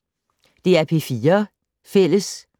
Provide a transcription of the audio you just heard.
DR P4 Fælles